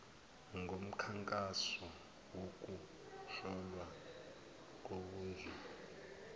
ngomkhankaso wokuhlolwa kobunzulu